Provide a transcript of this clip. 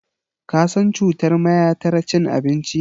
Ka san cutar mayatar cin abinci?